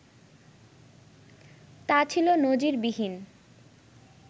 তা ছিল নজিরবিহীন